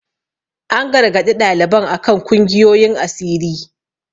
An gargaɗi ɗaliban a kan kungiyoyin asiri.